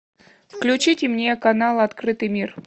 включите мне канал открытый мир